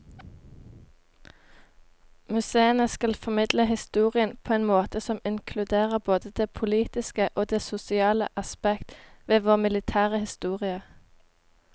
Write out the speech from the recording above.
Museene skal formidle historien på en måte som inkluderer både det politiske og det sosiale aspekt ved vår militære historie.